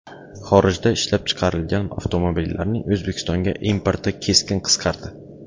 Xorijda ishlab chiqarilgan avtomobillarning O‘zbekistonga importi keskin qisqardi.